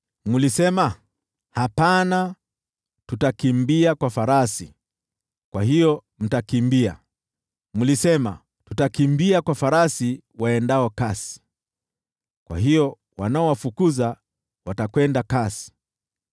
Mlisema, ‘Hapana, tutakimbia kwa farasi.’ Kwa hiyo mtakimbia! Mlisema, ‘Tutakimbia kwa farasi waendao kasi.’ Kwa hiyo wanaowafukuza watakwenda kasi!